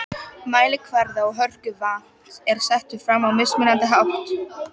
Mælikvarði á hörku vatns er settur fram á mismunandi hátt.